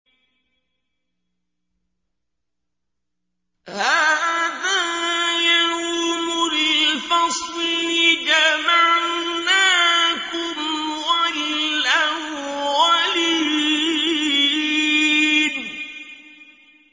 هَٰذَا يَوْمُ الْفَصْلِ ۖ جَمَعْنَاكُمْ وَالْأَوَّلِينَ